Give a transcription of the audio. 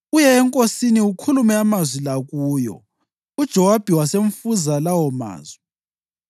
Uye enkosini ukhulume amazwi la kuyo.” UJowabi wasemfunza lawomazwi.